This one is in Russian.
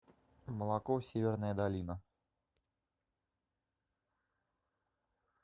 молоко северная долина